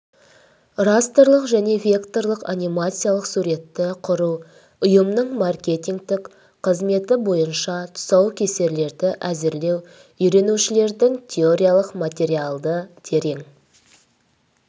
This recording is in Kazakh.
растрлық және векторлық анимациялық суретті құру ұйымының маркетингтік қызметі бойынша тұсаукесерлерді әзірлеу үйренушілердің теориялық материалды терең